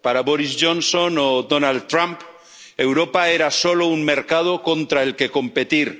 Para Boris Johnson o Donald Trump, Europa era solo un mercado contra el que competir.